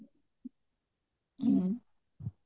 ହୁଁ